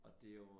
Og det jo